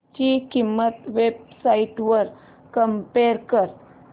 ची किंमत websites वर कम्पेअर कर